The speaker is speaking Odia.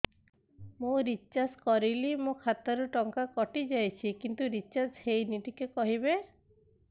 ମୁ ରିଚାର୍ଜ କରିଲି ମୋର ଖାତା ରୁ ଟଙ୍କା କଟି ଯାଇଛି କିନ୍ତୁ ରିଚାର୍ଜ ହେଇନି ଟିକେ କହିବେ